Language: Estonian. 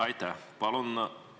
Aitäh!